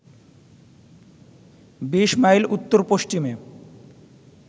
২০ mile উত্তর-পশ্চিমে